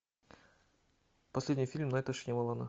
последний фильм найта шьямалана